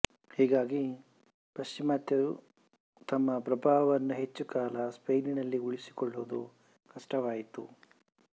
ಹೀಗಾಗಿ ಪಶ್ಚಿಮ ಗಾತರು ತಮ್ಮ ಪ್ರಭಾವವನ್ನು ಹೆಚ್ಚು ಕಾಲ ಸ್ಪೇನಿನಲ್ಲಿ ಉಳಿಸಿಕೊಳ್ಳುವುದು ಕಷ್ಟವಾಯಿತು